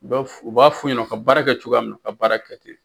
U b'a fu u b'a f'u ɲɛna u ka baara kɛ cogoya min na u ka baara kɛ ten.